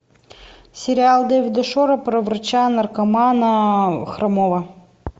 сериал дэвида шора про врача наркомана хромого